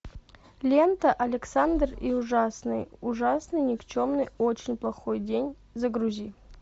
лента александр и ужасный ужасный никчемный очень плохой день загрузи